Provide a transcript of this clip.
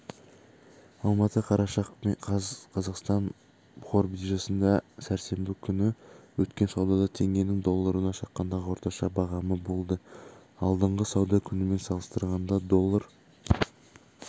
алматы қараша қаз қазақстан қор биржасында сәрсенбі күні өткен саудада теңгенің долларына шаққандағы орташа бағамы болды алдыңғы сауда күнімен салыстырғанда доллар